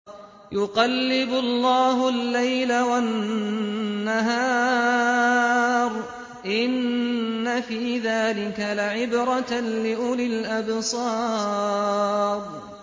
يُقَلِّبُ اللَّهُ اللَّيْلَ وَالنَّهَارَ ۚ إِنَّ فِي ذَٰلِكَ لَعِبْرَةً لِّأُولِي الْأَبْصَارِ